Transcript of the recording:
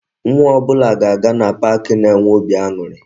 Nwa ọbụla ga-aga na pak na-enwe óbị aṅụrị